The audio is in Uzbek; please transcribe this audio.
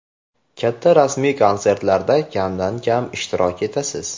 Katta rasmiy konsertlarda kamdan kam ishtirok etasiz.